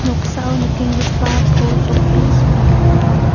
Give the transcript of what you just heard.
nikenggipa pos opis biap ong·a.